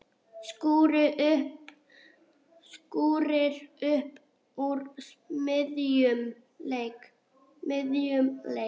Skúrir upp úr miðjum leik.